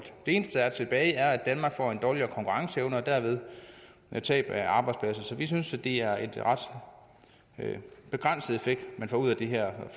eneste der er tilbage er at danmark får en dårligere konkurrenceevne og dermed tab af arbejdspladser så vi synes det er en ret begrænset effekt man får ud af den her